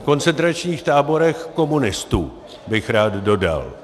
V koncentračních táborech komunistů, bych rád dodal.